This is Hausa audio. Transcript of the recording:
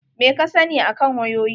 Meh ka sani akan wayoyi?